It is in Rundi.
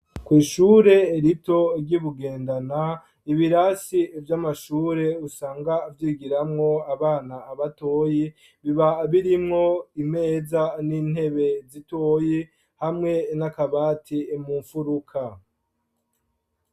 Ku ishure rito ry'ibugendana ibirasi vy'amashure usanga vyigiramwo abana abatoyi biba birimwo imeza n'intebe zitoyi hamwe n'a kabati mu mfuruka.